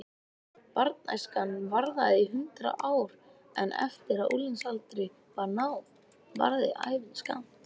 Barnæskan varði í hundrað ár en eftir að unglingsaldri var náð varði ævin skammt.